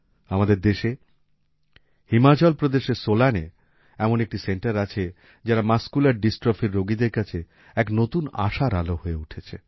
আমাদের দেশে হিমাচল প্রদেশের সোলানে এমন একটি সেন্টার আছে যারা মাসকুলার ডিস্ট্রফির রোগীদের কাছে এক নতুন আশার আলো হয়ে উঠেছে